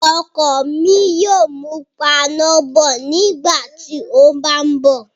ọkọ mi yóò mú pana bọ̀ nígbàtí ó bá ń bọ̀.